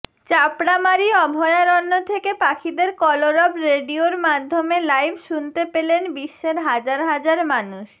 চাপড়ামারি অভয়ারণ্য থেকে পাখিদের কলরব রেডিয়োর মাধ্যমে লাইভ শুনতে পেলেন বিশ্বের হাজার হাজার মানুষ